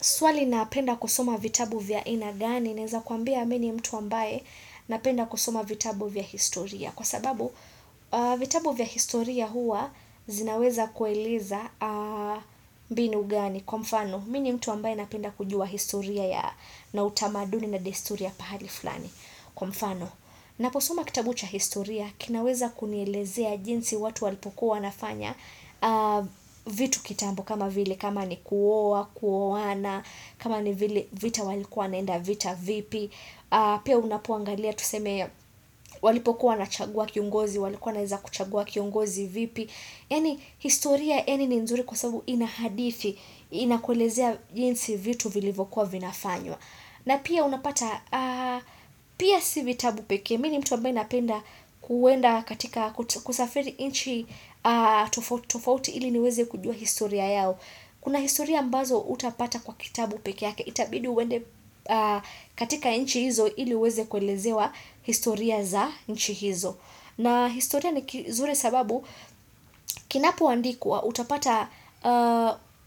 Swali napenda kusoma vitabu vya aina gani, naeza kwambia mi ni mtu ambaye napenda kusoma vitabu vya historia. Kwa sababu, vitabu vya historia huwa zinaweza kueleza mbinu gani. Kwa mfano, mi ni mtu ambaye napenda kujua historia na utamaduni na desturi ya pahali fulani. Kwa mfano, naposoma kitabu cha historia, kinaweza kunielezea jinsi watu walipokuwa wanafanya vitu kitambo kama vile, kama ni kuoa, kuoana, kama ni vita walikuwa wanaenda vita vipi pia unapoangalia tuseme walipokuwa wanachagua kiongozi walikuwa wanaeza kuchagua kiongozi vipi yaani historia eni ni nzuri kwa sababu inahadithi inakuelezea jinsi vitu vilivyokuwa vinafanywa na pia unapata pia si vitabu pekee mi ni mtu ambaye napenda kuenda katika kusafiri nchi tofauti ili niweze kujua historia yao Kuna historia ambazo hutapata kwa kitabu peke yake itabidi uende katika nchi hizo ili uweze kuelezewa historia za nchi hizo. Na historia ni kizuri sababu kinapoandikwa utapata